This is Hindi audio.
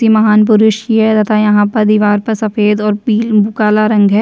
यह महान पुरुष तथा यहाँ पर दिवार पर सफ़ेद और पिल काला रंग है।